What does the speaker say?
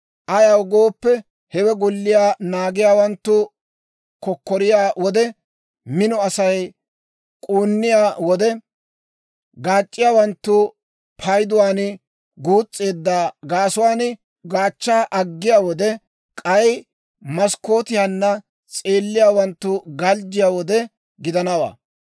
Ayaw gooppe, hewe golliyaa naagiyaawanttu kokkoriyaa wode, mino Asay k'uunniyaa wode, gaac'c'iyaawanttu payduwaan guus's'eedda gaasuwaan gaachchaa aggiyaa wode, k'ay maskkootiyaanna s'eelliyaawanttu galjjiyaa wode gidanawaa.